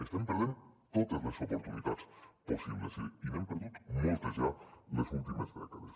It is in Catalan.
estem perdent totes les oportunitats possibles i n’hem perdut moltes ja les últimes dècades